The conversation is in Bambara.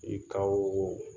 I ka oo